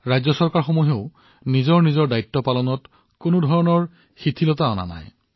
ৰাজ্য চৰকাৰসমূহেও তেওঁলোকৰ দায়িত্ব পালন কৰিবলৈ যথাসাধ্য ধৰণে চেষ্টা কৰি আছে